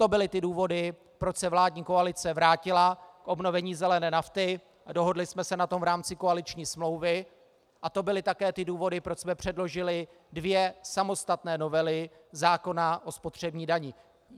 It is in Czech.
To byly ty důvody, proč se vládní koalice vrátila k obnovení zelené nafty a dohodli jsme se na tom v rámci koaliční smlouvy, a to byly také ty důvody, proč jsme předložili dvě samostatné novely zákona o spotřební dani.